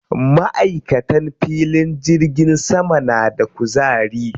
Maʼaikatan filin jirgin sama na da kuzari.